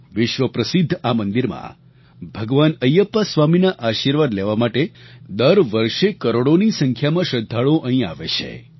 વિશ્વપ્રસિદ્ધ આ મંદિરમાં ભગવાન અયપ્પા સ્વામીના આશીર્વાદ લેવા માટે દર વર્ષે કરોડોની સંખ્યામાં શ્રદ્ધાળુઓ અહીં આવે છે